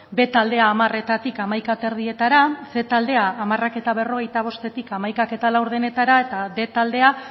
b taldea hamaretatik hamaikahogeita hamaretara ehun taldea hamarberrogeita bostetik hamaikahamabostetara eta bostehun taldea